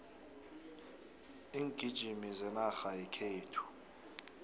iingijimi zenarha yekhethu